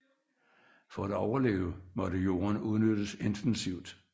For at overleve måtte jorden udnyttes intensivt